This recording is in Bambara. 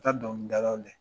taa dɔnkili dalaw